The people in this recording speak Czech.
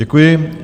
Děkuji.